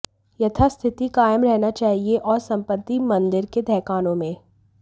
यथास्थिति कायम रहनी चाहिए और संपत्ति मंदिर के तहखानों में